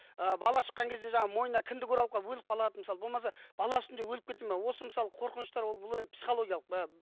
ы бала шыққан кезде жаңа мойына кіндік оралып қалып өліп қалады мысалы болмаса бала үстінде өліп кетеді ме осы мысалы қорқыныштар бұл енді психологиялық